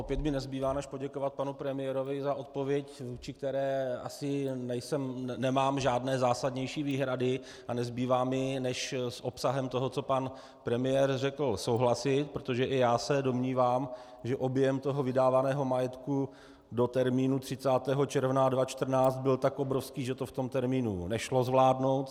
Opět mi nezbývá než poděkovat panu premiérovi za odpověď, vůči které asi nemám žádné zásadnější výhrady, a nezbývá mi než s obsahem toho, co pan premiér řekl, souhlasit, protože i já se domnívám, že objem toho vydávaného majetku do termínu 30. června 2014 byl tak obrovský, že to v tom termínu nešlo zvládnout.